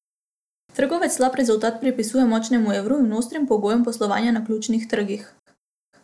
Trgovec slab rezultat pripisuje močnemu evru in ostrim pogojem poslovanja na ključnih trgih.